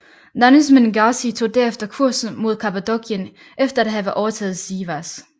Danişmend Gazi tog derefter kursen mod Kappadokien efter at have overtaget Sivas